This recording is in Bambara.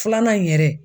Filanan in yɛrɛ